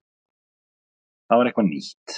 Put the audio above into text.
Það var eitthvað nýtt.